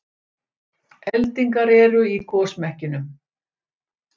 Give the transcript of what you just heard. Eldingar eru í gosmekkinum